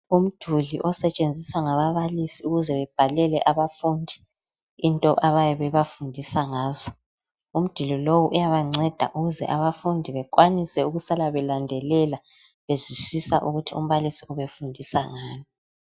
Umduli osetshenziswa ngababalisi ukuze bebhalele abafundi into abayabe bebafundisa ngazo. Umduli lowo uyabancenda ukuze abafundi bekwanise ukusala belandelela bezwisisa ukuthi umbalisi ufundisa ngani.